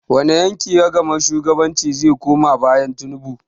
Wani yanki ragamar shugabancin zai koma bayan Tinubu?